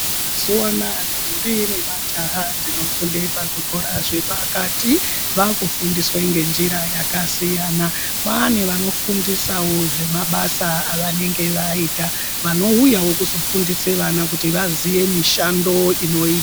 Mazuva anaya ndombi nemajaha dzinofunde pazvikora zvepakati vakufundiswe ngenjira yakasiyana. Kwane vanofundisawo zvemabasa avanenge vaita vanouyawo kuzofundise vana kuti vaziye mishando inoyita.